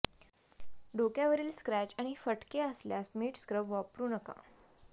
डोक्यावरील scratch आणि फटके असल्यास मीठ स्क्रब वापरू नका